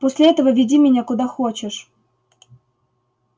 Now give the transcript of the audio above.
после этого веди меня куда хочешь